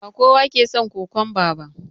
Ba kowa ke son kokwamba ba